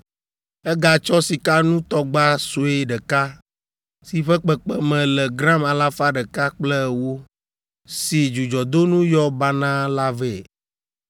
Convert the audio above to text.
Egatsɔ sikanutɔgba sue ɖeka si ƒe kpekpeme le gram alafa ɖeka kple ewo, si dzudzɔdonu yɔ banaa la vɛ.